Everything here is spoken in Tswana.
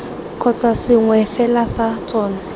kgotsa sengwe fela sa tsona